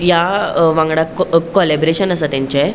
यावांगडा कोलैबरशन आसा तेंचे.